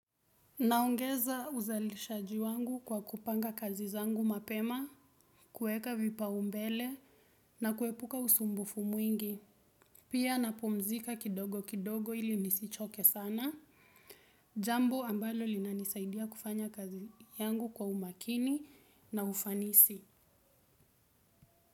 Naongeza uzalishaji wangu kwa kupanga kazi zangu mapema, kueka vipaumbele na kuepuka usumbufu mwingi. Pia napumzika kidogo kidogo ili nisichoke sana. Jambo ambalo linanisaidia kufanya kazi yangu kwa umakini na ufanisi.